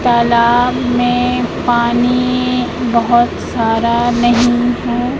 तालाब में पानी बोहोत सारा नहीं है।